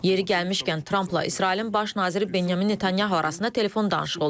Yeri gəlmişkən, Trampla İsrailin baş naziri Benyamin Netanyahu arasında telefon danışığı olub.